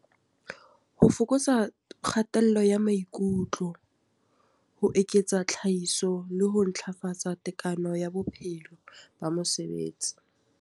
Ho fokotsa kgatello ya maikutlo, ho eketsa tlhahiso le ho ntlafatsa tekano ya bophelo ba mosebetsi.